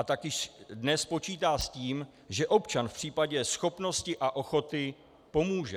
A taky dnes počítá s tím, že občan v případě schopnosti a ochoty pomůže.